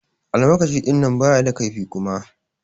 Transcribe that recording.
Almakashi dinnan baya da kaifi Kuma.